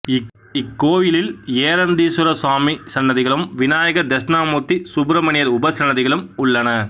இக்கோயிலில் ஏரந்தீஸ்வர சுவாமி இல் லை சன்னதிகளும் விநாயகர் தெட்சிணாமூர்த்தி சுப்ரமணியர் உபசன்னதிகளும் உள்ளன